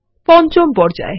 পঞ্চম পর্যায়